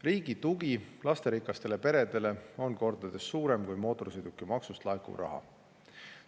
Riigi tugi lasterikastele peredele on kordades suurem kui mootorsõidukimaksust laekuv raha.